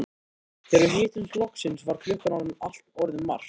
Þegar við hittumst loksins var klukkan orðin margt.